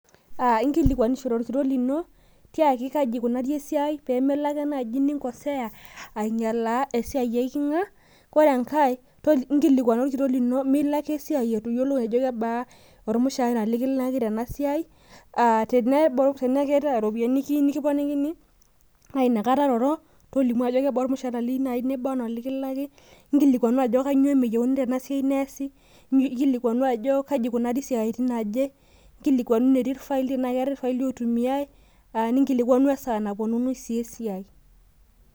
inkilikuanishore olkitok lino tiaki kaji ikunari esiai pee melo naaji ake ninkoseya aing'ialaa esiaai eeiking'a ,ore enkae inkilikuana orkitok lino ajo kebaa omushaara likilaki tenasiaai, tenaa keeta iropiyiani niyieu nikiponikini naa inakata iroro , tolimu ajo kebaa ormushara liyeu nikilaki inkilikuanu ajo kanyioo meyieuni neesi tena siaai , kaji etii irfaili ,kesaaja epuonuni esiaai.